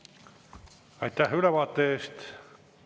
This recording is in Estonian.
Aitäh ülevaate eest!